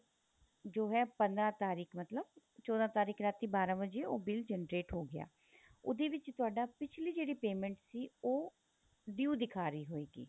ਜੋ ਹੈ ਪੰਦਰਾਂ ਤਾਰੀਕ ਮਤਲਬ ਚੋਦਾਂ ਤਾਰੀਕ ਰਾਤੀ ਬਾਰਾਂ ਵਜੇ ਉਹ bill generate ਹੋ ਗਿਆ ਉਹਦੇ ਵਿੱਚ ਤੁਹਾਡਾ ਪਿੱਛਲੀ ਜਿਹੜੀ payment ਸੀ ਉਹ due ਦਿਖਾ ਰਹੀ ਹੋਏਗੀ